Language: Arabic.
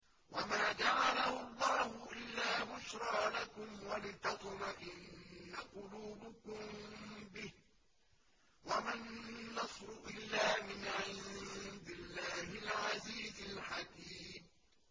وَمَا جَعَلَهُ اللَّهُ إِلَّا بُشْرَىٰ لَكُمْ وَلِتَطْمَئِنَّ قُلُوبُكُم بِهِ ۗ وَمَا النَّصْرُ إِلَّا مِنْ عِندِ اللَّهِ الْعَزِيزِ الْحَكِيمِ